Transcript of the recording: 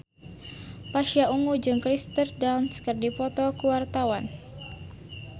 Pasha Ungu jeung Kirsten Dunst keur dipoto ku wartawan